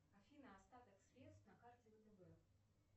афина остаток средств на карте втб